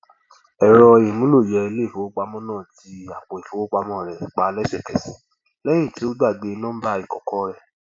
ẹrọ ìmúlòyẹ iléifowopamọ náà ti àpò ìfowópamọsí rẹ pa lẹsẹkẹsẹ lẹyìn tí ó gbàgbé nọmbà ìkọkọ rẹ